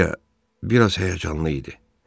Yuliya biraz həyəcanlı idi.